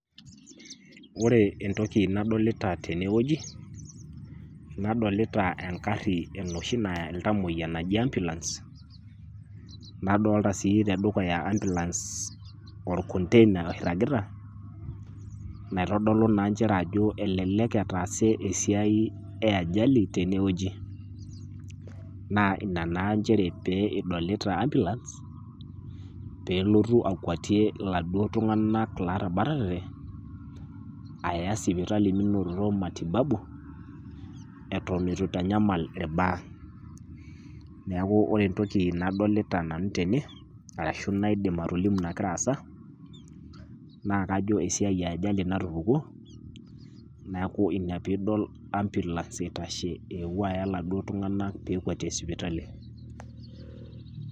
Ore entoki nadolita tenewueji nadolita engarri enoshi naya iltamoya naji ambulance nadolta sii tedukuya ambulance olkontena oirragita naitodolu naa nchere ajo elelek etaase esiai eajali tenewueji. Naa ina naa nchere pee idolita ambulance peelotu akuatie laduo tung'anak laatabatate aya sipitali minoto matibabu etenetu eitanyamal ilbaa. Neaku ore entoki nadolita nanu tene arashu naidim atolimu nagira aasa naakajo esiai eajali natupukuo, neaku ina piidol ambulance eitashe eepuo aya laduo tung'anak peekuatie sipitali.